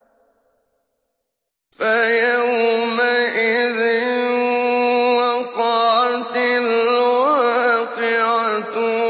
فَيَوْمَئِذٍ وَقَعَتِ الْوَاقِعَةُ